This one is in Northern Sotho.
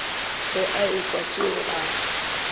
ge a ekwa tšeo a